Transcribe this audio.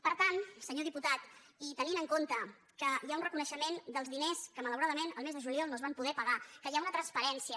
per tant senyor diputat i tenint en compte que hi ha un reconeixement dels diners que malauradament el mes de juliol no es van poder pagar que hi ha una transpa·rència